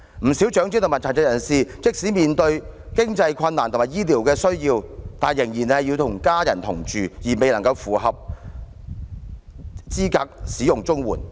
不少長者和殘疾人士即使面對經濟困難和醫療需要，但仍然要與家人同住，而未能符合申領綜援的資格。